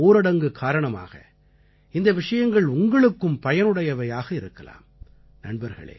இந்த முழுமையான ஊரடங்கு காரணமாக இந்த விஷயங்கள் உங்களுக்கும் பயனுடையவையாக இருக்கலாம்